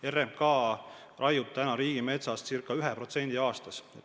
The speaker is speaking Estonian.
RMK raiub riigimetsast circa 1% aastas.